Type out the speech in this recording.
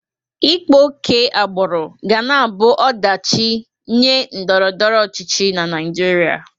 Ịkpa oke agbụrụ ga na-abụ ọdachị nye ndọrọndọrọ ọchịchị Naịjịrịa.